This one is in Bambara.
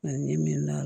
Ani ni min na